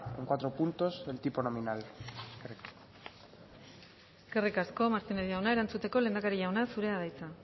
en cuatro puntos el tipo nominal eskerrik asko martínez jauna erantzuteko lehendakari jauna zurea da hitza